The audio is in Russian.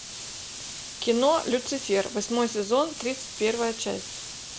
кино люцифер восьмой сезон тридцать первая часть